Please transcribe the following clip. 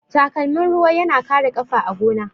Takalmin ruwa yana kare ƙafa a gona.